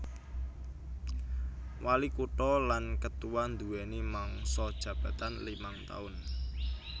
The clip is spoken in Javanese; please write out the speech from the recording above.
Walikutha lan ketua nduwèni mangsa jabatan limang taun